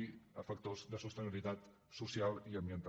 i factors de sostenibilitat social i ambiental